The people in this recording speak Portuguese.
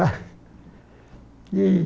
Ah e